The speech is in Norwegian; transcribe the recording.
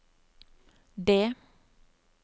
D